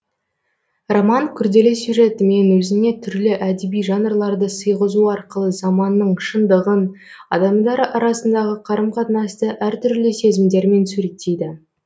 роман күрделі сюжетімен өзіне түрлі әдеби жанрларды сыйғызу арқылы заманның шындығын адамдар арасындағы қарым қатынасты әр түрлі сезімдермен суреттейді